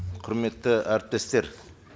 құрметті әріптестер